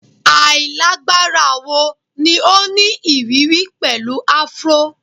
Ailagbara wo ni o ni iriri pẹlu afro?